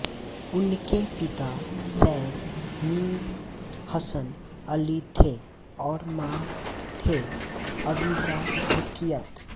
उनके पिता सैयद मीर हसन अली थे और मां थे आबिदा रुकियत